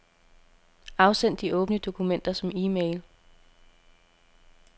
Afsend de åbne dokumenter som e-mail.